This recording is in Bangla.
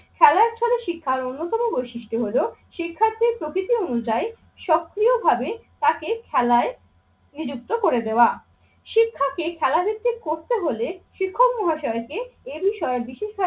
খেলার ছলে শিক্ষার অন্যতম বৈশিষ্ট্য হলো শিক্ষার্থীর প্রকৃতি অনুযায়ী সক্রিয়ভাবে তাকে খেলায় নিযুক্ত করে দেওয়া। শিক্ষাকে খেলাধুত্তি করতে হলে শিক্ষক মহাশয়কে এ বিষয়ে বিশেষ